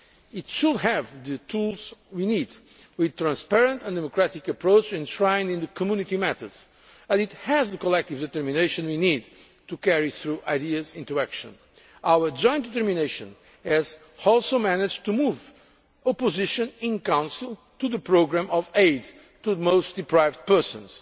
It should have the tools we need, with the transparent and democratic approach enshrined in the Community method, and it has the collective determination we need to carry through ideas into action. Our joint determination has also managed to move opposition in Council to the programme of aid to the most deprived persons.